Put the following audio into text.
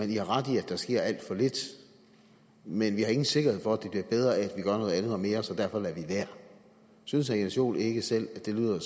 i har ret i at der sker alt for lidt men vi har ingen sikkerhed for at det bliver bedre af at gør noget andet og mere så derfor lader vi være synes herre jens joel ikke selv at det lyder